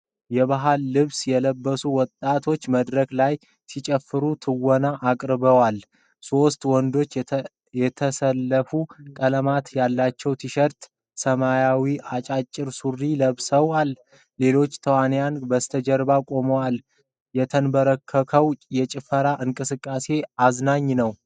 የባህል ልብስ የለበሱ ወጣቶች በመድረክ ላይ ሲጨፍሩ ትወና አቅርበዋል። ሦስቱ ወንዶች የተሰለፉ ቀለማት ያላቸው ቲሸርትና ሰማያዊ አጫጭር ሱሪ ለብሰዋል። ሌሎች ተወናዮች በስተጀርባ ቆመዋል። የተንበረከከው የጭፈራ እንቅስቃሴያቸው አዝናኝ ነው።